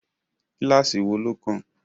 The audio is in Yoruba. Kíláásì wo ló kàn?